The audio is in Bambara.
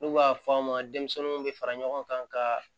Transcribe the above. N'u b'a fɔ a ma denmisɛnninw bɛ fara ɲɔgɔn kan ka